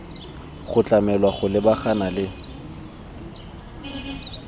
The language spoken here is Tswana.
go tlamelwa go lebagana le